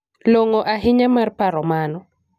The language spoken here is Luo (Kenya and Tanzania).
Long'o ahinya mar paro mano.